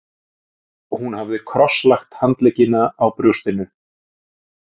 Hún hafði krosslagt handleggina á brjóstinu.